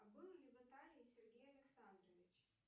а был ли в италии сергей александрович